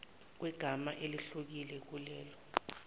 kwegama elehlukile kulelo